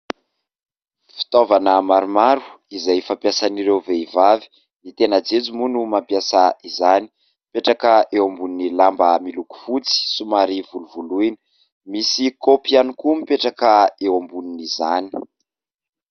Fitaovana maromaro izay fampiasan'ireo vehivavy, ny tena jejo moa no mampiasa izany ; mipetraka eo ambonin'ny lamba miloko fotsy somary volovoloina, misy kaopy ihany koa mipetraka eo ambonin' izany.